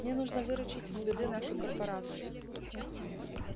мне нужно выручить из беды нашу корпорацию